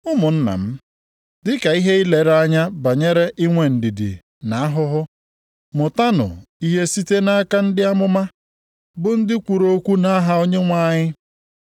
Ụmụnna m, dị ka ihe ilere anya banyere inwe ndidi na ahụhụ, mụtanụ ihe site nʼaka ndị amụma bụ ndị kwuru okwu nʼaha Onyenwe anyị.